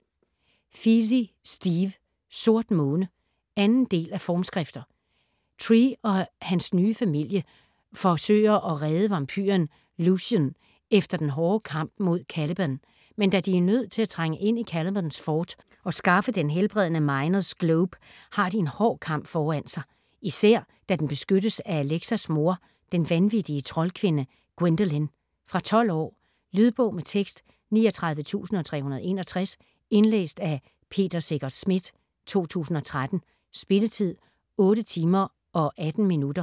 Feasey, Steve: Sort måne 2. del af Formskrifter. Trey og hans nye familie forsøger at redde vampyren Lucien efter den hårde kamp mod Caliban. Men da de er nødt til at trænge ind i Calibans fort og skaffe den helbredende Mynors Globe har de en hård kamp foran sig. Især da den beskyttes af Alexas mor, den vandvittige troldkvinde Gwendolin. Fra 12 år. Lydbog med tekst 39361 Indlæst af Peter Secher Schmidt, 2013. Spilletid: 8 timer, 18 minutter.